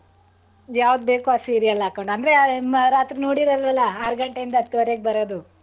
ಯಾವ್ದ್ಬೇಕು ಆ serial ಹಾಕೊಂಡ್ ಅಂದ್ರೆ ರಾತ್ರಿ ನೋಡಿರಲ್ವಲ್ಲ ಆರಗಂಟೆ ಇಂದ ಹತ್ವರೆಗೆ ಬರೋದು.